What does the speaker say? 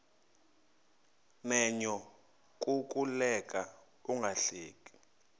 menyo kukuleka ungahleki